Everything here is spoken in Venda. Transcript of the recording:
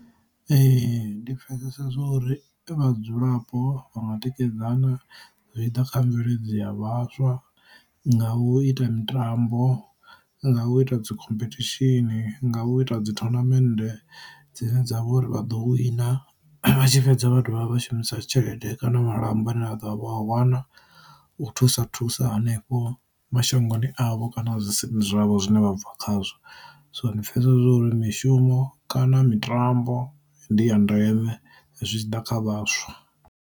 Ee ndi pfesesa zwa uri vhadzulapo vha nga tikedzana zwi tshi ḓa kha mveledzi a vhaswa nga u ita mitambo, nga u ita dzi khomphethishini, nga u ita dzi thonamende dzine dzavha uri vha ḓo wina, vha tshi fhedza vha dovha vha shumisa tshelede kana malamba ane a ḓo a vha a wana u thusa thusa hanefho mashangoni avho kana zwi si zwavho zwine vha bva khazwo. So ndi pfesesa uri mishumo kana mitambo ndi ya ndeme zwi tshi ḓa kha vhaswa.